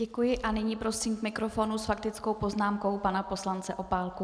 Děkuji a nyní prosím k mikrofonu s faktickou poznámkou pana poslance Opálku.